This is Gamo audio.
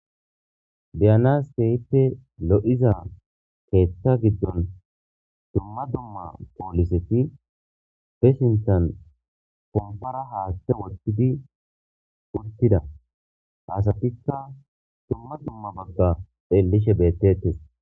Tiyanas kehippe lo'iza keetha giddon dumma dumma pooliseti fishintan kompara haatte wotidi wurtida haasatikka dumma dumma bagga xeellishe bettetes